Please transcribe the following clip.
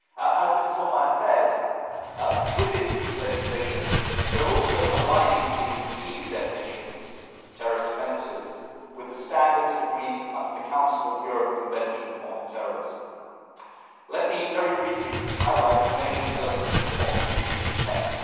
As Ms Hohlmeier said, with this piece of legislation we are also aligning the EU definitions of terrorist offences with the standards agreed under the Council of Europe Convention on Terrorism. Let me highlight very briefly the main elements of the text.